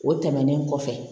O tɛmɛnen kɔfɛ